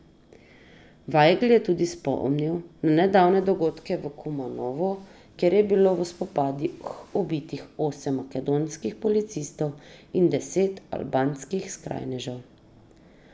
Vajgl je tudi spomnil na nedavne dogodke v Kumanovu, kjer je bilo v spopadih ubitih osem makedonskih policistov in deset albanskih skrajnežev.